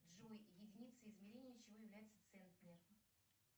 джой единица измерения чего является центнер